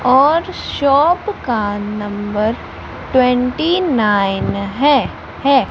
और शॉप का number twenty nine हैं हैं।